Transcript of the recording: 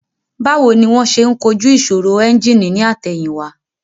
Báwo ni wón ṣe ń kojú ìṣòro ẹ́ńjìnì ní àtẹ̀yìn wá